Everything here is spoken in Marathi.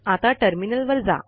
आता टर्मिनल वर जा